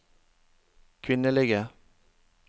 kvinnelige